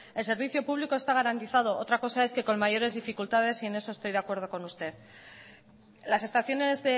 el servicio público está garantizado otra cosa es que con mayores dificultades y con eso estoy de acuerdo con usted las estaciones